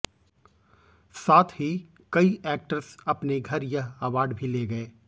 साथ ही कई एक्टर्स अपने घर यह अवार्ड भी ले गए